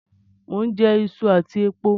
Mo n jẹ isu àtí epo